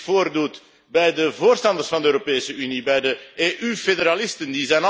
voordoet bij de voorstanders van de Europese Unie, bij de EU federalisten.